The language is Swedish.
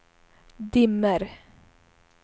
dimmer